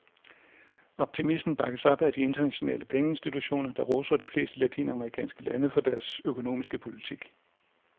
Optimismen bakkes op af de internationale pengeinstitutioner, der roser de fleste latinamerikanske lande for deres økonomiske politik.